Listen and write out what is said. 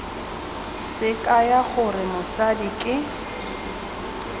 se kaya gore mosadi ke